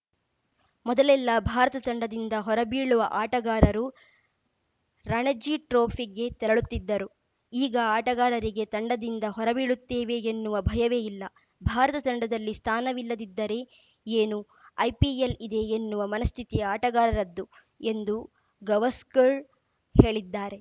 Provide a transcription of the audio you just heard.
ಮೊದಲೆಲ್ಲಾ ಭಾರತ ತಂಡದಿಂದ ಹೊರಬೀಳುವ ಆಟಗಾರರು ರಣಜಿ ಟ್ರೋಫಿಗೆ ತೆರಳುತ್ತಿದ್ದರು ಈಗ ಆಟಗಾರರಿಗೆ ತಂಡದಿಂದ ಹೊರಬೀಳುತ್ತೇವೆ ಎನ್ನುವ ಭಯವೇ ಇಲ್ಲ ಭಾರತ ತಂಡದಲ್ಲಿ ಸ್ಥಾನವಿಲ್ಲದಿದ್ದರೆ ಏನು ಐಪಿಎಲ್‌ ಇದೆ ಎನ್ನುವ ಮನಸ್ಥಿತಿ ಆಟಗಾರರದ್ದು ಎಂದು ಗವಾಸ್ಕರ್‌ ಹೇಳಿದ್ದಾರೆ